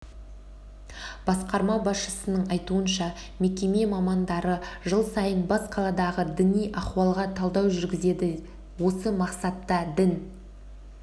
басқарма басшысының айтуынша мекеме мамандары жыл сайын бас қаладағы діни ахуалға талдау жүргізеді осы мақсатта дін